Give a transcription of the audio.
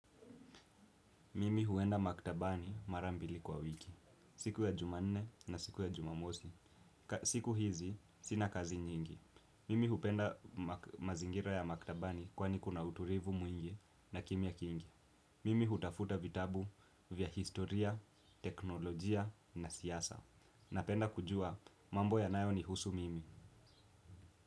Mimi huenda maktabani marambili kwa wiki. Siku ya jumanne na siku ya jumamosi. Siku hizi sina kazi nyingi. Mimi hupenda mazingira ya maktabani kwani kuna utulivu mwingi na kimya kingi. Mimi hutafuta vitabu vya historia, teknolojia na siasa. Napenda kujua mambo ya nayo ni husu mimi.